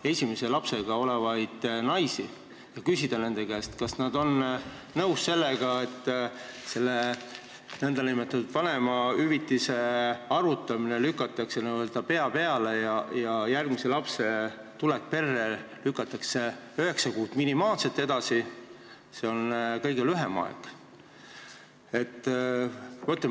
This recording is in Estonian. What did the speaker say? naisi, kellel on praegu esimene laps, ega küsinud nende käest, kas nad on nõus sellega, et vanemahüvitise arvutamine keeratakse n-ö pea peale ja järgmise lapse tulek perre lükatakse minimaalselt üheksa kuud edasi, see on kõige lühem aeg.